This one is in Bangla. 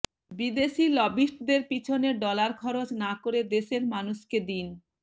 বিদেশি লবিস্টদের পেছনে ডলার খরচ না করে দেশের মানুষকে দিন